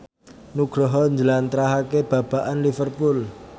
Nugroho njlentrehake babagan Liverpool